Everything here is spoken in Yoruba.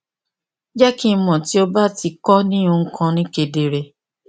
jẹ ki n mọ ti o ba ti ko ni ohun kan ni kedere